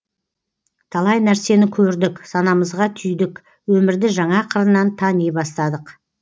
талай нәрсені көрдік санамызға түйдік өмірді жаңа қырынан тани бастадық